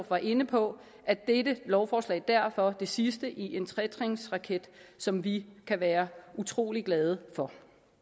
var inde på er dette lovforslag derfor det sidste i en tretrinsraket som vi kan være utrolig glade for